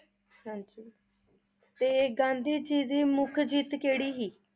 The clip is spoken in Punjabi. ਹਾਂਜੀ ਤੇ ਗਾਂਧੀ ਜੀ ਦੀ ਮੁਖ ਜਿੱਤ ਕਿਹੜੀ ਹੀ?